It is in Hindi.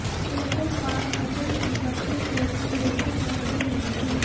उनको पास अचल संपत्ति तो थी लेकिन नकदी नहीं थी